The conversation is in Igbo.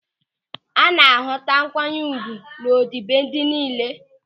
A na-ahụta nkwanye ùgwù ọdịbendị niile.